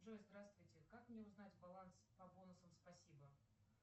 джой здравствуйте как мне узнать баланс по бонусам спасибо